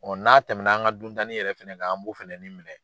n'a tɛmɛna an ka duntanin yɛrɛ fana kan an b'o fɛnɛnin minɛ.